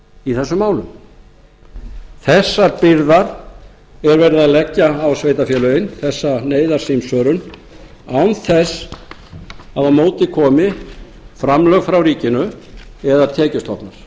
í þessum málum þessar byrðar er verið að leggja á sveitarfélögin þessa neyðarsímsvörun án þess að á móti komi framlög frá ríkinu eða tekjustofnar